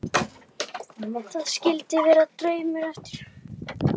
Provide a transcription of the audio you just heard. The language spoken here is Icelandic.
Þar skildum við draslið eftir.